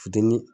Fitinin